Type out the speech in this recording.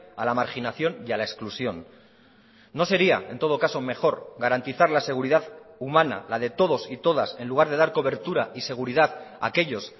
a la marginación y a la exclusión no sería en todo caso mejor garantizar la seguridad humana la de todos y todas en lugar de dar cobertura y seguridad a aquellos